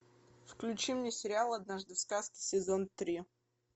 включи мне сериал однажды в сказке сезон три